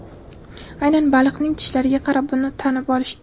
Aynan baliqning tishlariga qarab uni tanib olishdi.